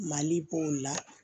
Mali b'o la